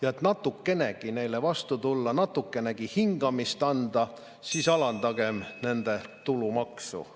Et neile natukenegi vastu tulla, natukenegi hingamist anda, siis alandagem nende tulumaksu.